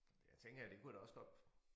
Det tænker jeg det kunne jeg da også godt